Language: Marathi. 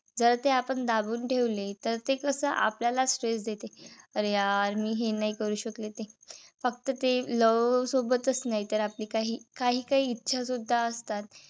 जर ते आपण दाबून ठेवले. तर ते कस आपल्याच stress देते. अरे यार मी हे नाही करू शकले. ते नाही. फक्त ते love सोबतच नाही, तर आपली काही काहीकाही इच्छा सुद्धा असतात.